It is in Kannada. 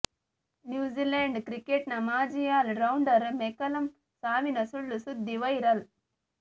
ನ್ಯೂಝಿಲೆಂಡ್ ಕ್ರಿಕೆಟ್ ನ ಮಾಜಿ ಆಲ್ ರೌಂಡರ್ ಮೆಕಲಮ್ ಸಾವಿನ ಸುಳ್ಳು ಸುದ್ದಿ ವೈರಲ್